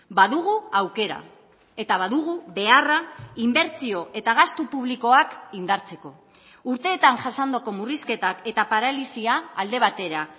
badugu aukera eta badugu beharra inbertsio eta gastu publikoak indartzeko urteetan jasandako murrizketak eta paralisia alde batera